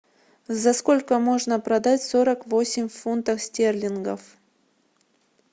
за сколько можно продать сорок восемь фунтов стерлингов